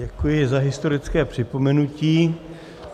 Děkuji za historické připomenutí.